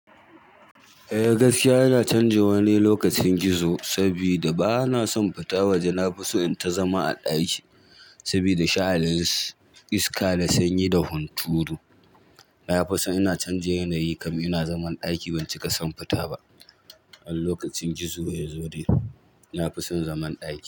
Eh gaskiya ina canji wani lokacin gizo saboda bana son fita waje. Na fi so in ta zama a ɗaki saboda sha'anin su iska da sanyi da hunturu. Na fi so ina canja yanayi kam ina zaman ɗaki ban cika son fita ba. An lokacin gizo ya zo dai na fi son zaman ɗaki.